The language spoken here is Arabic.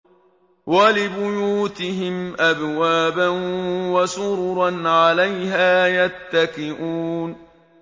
وَلِبُيُوتِهِمْ أَبْوَابًا وَسُرُرًا عَلَيْهَا يَتَّكِئُونَ